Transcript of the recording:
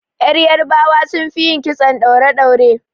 Yarbawa sun fi yin kitson ɗaure-ɗaure.